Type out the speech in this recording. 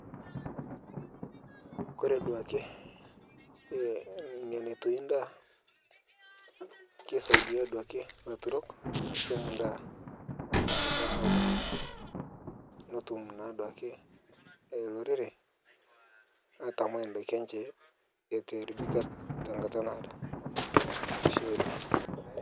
Kore duake nemetui endaa keisia duake ilaturok ashum endaa tenkata naadao netum naa duake olorere aatamai indaiki enche eitu eairibika tenkata naado .ashe oleng.